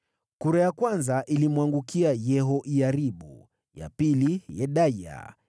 Kura ya kwanza ilimwangukia Yehoyaribu, ya pili Yedaya,